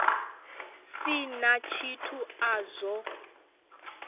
si na tshithu a zwo